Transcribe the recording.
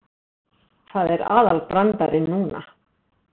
Það er aðalbrandarinn núna.